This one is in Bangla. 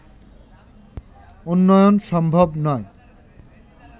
উন্নয়ন সম্ভব নয়